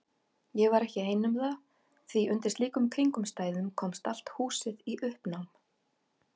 Ég var ekki ein um það því undir slíkum kringumstæðum komst allt húsið í uppnám.